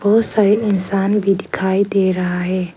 बहोत सारे इंसान भी दिखाई दे रहा है।